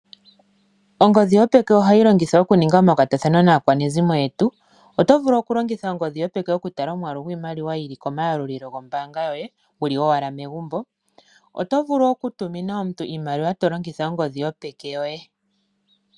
Ongodhi yopeka ohayi longithwa oku ninga omakwatathano naakwanezimo ngoye oto vulu wo oku tala omayalulilo gokombaanga yoye noshowo oku tuma oshimaliwa wu li ashike megumbo